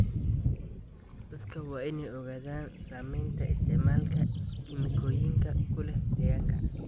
Dadka waa in ay ogaadaan saameynta isticmaalka kiimikooyinka ku leh deegaanka.